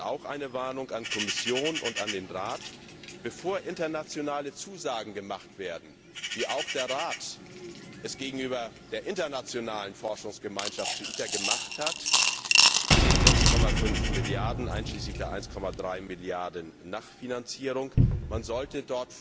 Und auch eine Warnung an Kommission und Rat Bevor internationale Zusagen gemacht werden, wie auch der Rat sie gegenüber der internationalen Forschungsgemeinschaft zu ITER gemacht hat mit den 6,5 Milliarden EUR einschließlich der 1,3 Milliarden EUR Nachfinanzierung, sollte